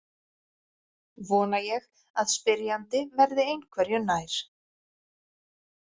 Vona ég að spyrjandi verði einhverju nær.